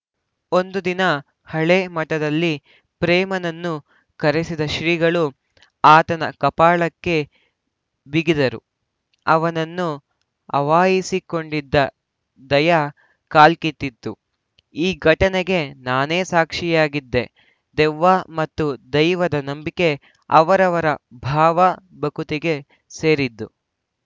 ಒಂದು ದಿನ ಹಳೆ ಮಠದಲ್ಲಿ ಪ್ರೇಮನನ್ನು ಕರೆಸಿದ ಶ್ರೀಗಳು ಆತನ ಕಪಾಳಕ್ಕೆ ಬಿಗಿದರು ಅವನನ್ನು ಆವಾಹಿಸಿಕೊಂಡಿದ್ದ ದೈಯ ಕಾಲ್ಕಿತ್ತಿತು ಈ ಘಟನೆಗೆ ನಾನೇ ಸಾಕ್ಷಿಯಾಗಿದ್ದೆ ದೆವ್ವ ಮತ್ತು ದೈವದ ನಂಬಿಕೆ ಅವರವರ ಭಾವ ಭಕುತಿಗೆ ಸೇರಿದ್ದು